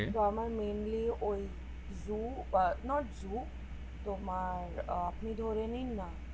তো আমার mainly ঐ zoo not zoo তোমার আহ নয়